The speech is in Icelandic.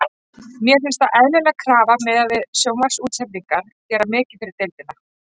Mér finnst það eðlileg krafa miðað við hvað sjónvarpsútsendingar gera mikið fyrir deildina.